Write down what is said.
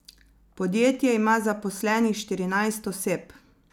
Podjetje ima zaposlenih štirinajst oseb.